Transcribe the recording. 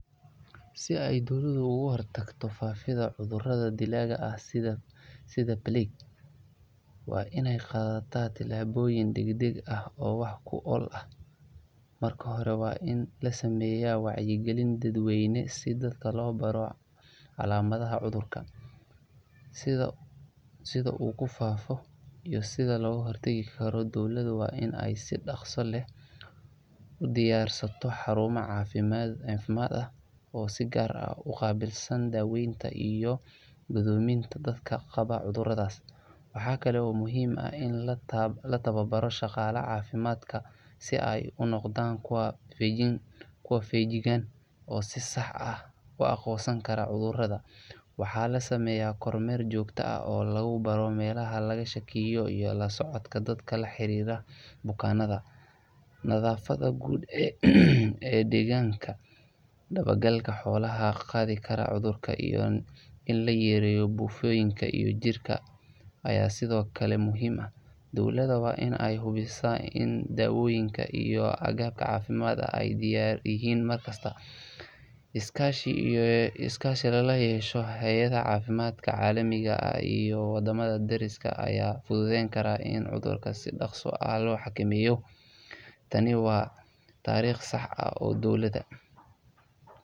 sii ey dowladdu ugu hortaagto faafida cudurada dilaga ah sidhaa Belik waa iney qadata tilaboyin dagdaga ah oo wax kool ah marka hore waa in lasameya wacye gilin oo daad weyn si dadka lo baro calamaha cudurka si ugu faafo iyo sidha ugu hortagi karo dowladu waa in si daqsi laah udiiyarsato xaruma cafimad ah oo sigaar uqabiilsana daweyta iyo gudumeyta dadka qaawo iyo cudurada waaxa kale oo muhima in lataawa baro shaqalo cafimadka sii ey unoqdaan kuwa fiijigan oo si saax ah u aqonsani karo cudurada waaxa lasameya kor meer joogta ah oo laga shakiiyo lasocodka dadka la xariro bukanada nadaafada guud daawa galka xolaha qaadi karo cudurka in lo yero bufiin ka iyo jirka aya sidhoo kale muhim ah dowladda waa in ey hubiisa dawoyinka iyo agagarka cafimadka ee diyar yihin markasta discussion lala yesho xayadaha calaminga aha iyo wadamada dariska aya fududen kara in cudurka sii daqsa ah loo hakamiyo taani oo waa tariiq saax ah dowladda.